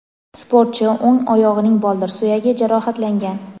Sportchi o‘ng oyog‘ining boldir suyagi jarohatlangan.